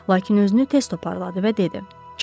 Lakin özünü tez toparladı və dedi: